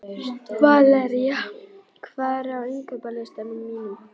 Valería, hvað er á innkaupalistanum mínum?